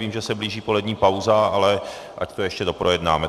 Vím, že se blíží polední pauza, ale ať to ještě doprojednáme.